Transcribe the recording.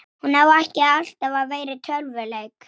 Hann hnyti um koll!